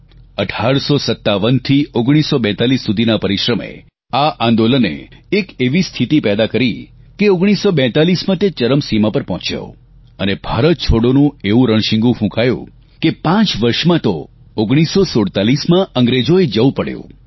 1857 થી 1942 સુધીના આ પરિશ્રમે આ આંદોલને એક એવી સ્થિતિ પેદા કરી કે 1942માં તે ચરમસીમા પર પહોંચ્યો અને ભારત છોડોનું એવું રણશીંગુ ફૂંકાયું કે પાંચ વર્ષમાં તો 1947માં અંગ્રેજોએ જવું પડ્યું